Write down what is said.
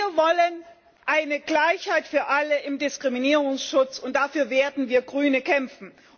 Wir wollen eine Gleichheit für alle im Diskriminierungsschutz, und dafür werden wir Grünen kämpfen.